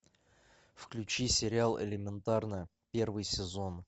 включи сериал элементарно первый сезон